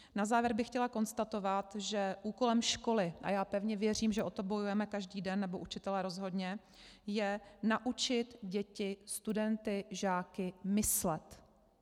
Na závěr bych chtěla konstatovat, že úkolem školy - a já pevně věřím, že o to bojujeme každý den, nebo učitelé rozhodně - je naučit děti, studenty, žáky myslet.